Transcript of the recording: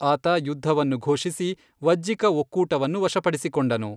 ಆತ ಯುದ್ಧವನ್ನು ಘೋಷಿಸಿ, ವಜ್ಜಿಕ ಒಕ್ಕೂಟವನ್ನು ವಶಪಡಿಸಿಕೊಂಡನು.